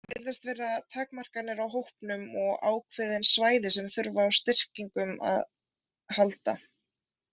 Það virðast vera takmarkanir á hópnum og ákveðin svæði sem þurfa á styrkingum að halda.